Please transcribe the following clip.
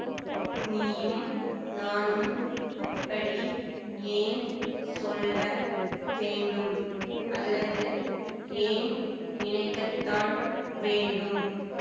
நீயும் நானும் அப்படி ஏன் சொல்ல வேண்டும் அல்லது ஏன் நினைக்கத்தான் வேண்டும்